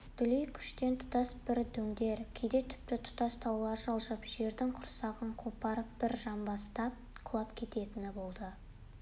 дүлейкүштен тұтас бір дөңдер кейде тіпті тұтас таулар жылжып жердің құрсағын қопарып бір жамбастап құлап кететіні болады